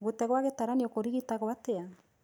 Gũte gwa gĩtaranio kũrigitagwo atĩa?